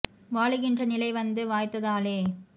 வாழுகின்ற நிலை வந்து வாய்த்ததாலே